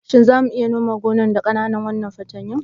Shin za mu iya nome gonan da waɗannan ƙananan fatanyun?